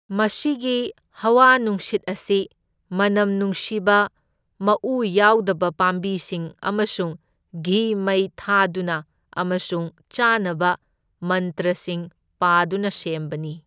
ꯃꯁꯤꯒꯤ ꯍꯋꯥ ꯅꯨꯡꯁꯤꯠ ꯑꯁꯤ ꯃꯅꯝ ꯅꯨꯡꯁꯤꯕ ꯃꯎ ꯌꯥꯎꯗꯕ ꯄꯥꯝꯕꯤꯁꯤꯡ ꯑꯃꯁꯨꯡ ꯘꯤ ꯃꯩ ꯊꯥꯗꯨꯅ ꯑꯃꯁꯨꯡ ꯆꯥꯅꯕ ꯃꯟꯇ꯭ꯔꯁꯤꯡ ꯄꯥꯗꯨꯅ ꯁꯦꯝꯕꯅꯤ꯫